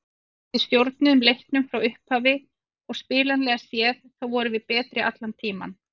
Við stjórnuðum leiknum frá upphafi og spilanlega séð þá vorum við betri allan tímann.